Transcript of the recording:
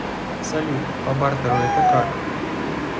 салют по бартеру это как